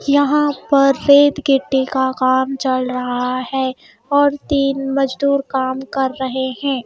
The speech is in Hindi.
यहाँ पर रेतगिट्टी का काम चल रहा है और तीन मजदूर काम कर रहे हैं.